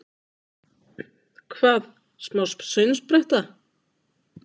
Hvað, smá saumspretta!